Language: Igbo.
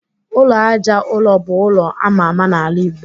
Ụlọ Àjà ụrọ bu ụlọ ama ama n'ala igbo